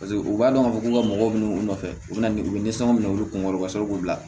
Paseke u b'a dɔn k'a fɔ k'u ka mɔgɔw minɛ u nɔfɛ u bɛ na ni u bɛ nisɔn minɛ u bɛ kunkɔrɔ ka sɔrɔ k'u bila